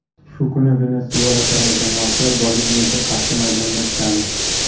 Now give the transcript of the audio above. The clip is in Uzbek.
Shu kuni Venesuela terma jamoasi Boliviyaga qarshi maydonga tushadi.